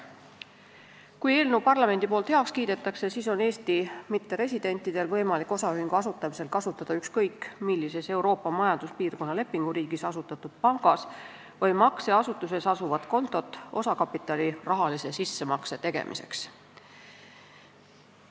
Kui parlament eelnõu heaks kiidab, on Eesti mitteresidentidel võimalik osaühingu asutamisel kasutada ükskõik millises Euroopa Majanduspiirkonna lepinguriigis asutatud pangas või makseasutuses asuvat kontot osakapitali rahalise sissemakse tegemiseks.